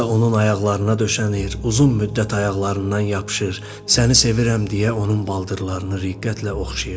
Xanım isə onun ayaqlarına döşənir, uzun müddət ayaqlarından yapışır, səni sevirəm deyə onun baldırlarını riqqətlə oxşayırdı.